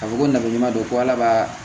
A fɔ ko nafa ɲuman don ko ala b'a